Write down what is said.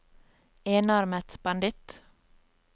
enarmet banditt